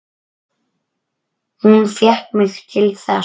Hún fékk mig til þess!